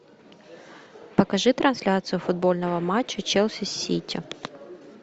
покажи трансляцию футбольного матча челси с сити